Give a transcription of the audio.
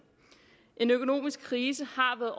en økonomisk krise har været